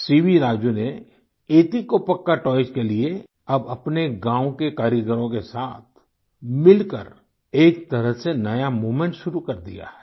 CV Raju ने Etikoppaka toys के लिये अब अपने गाँव के कारीगरों के साथ मिलकर एक तरह से नया मूवमेंट शुरू कर दिया है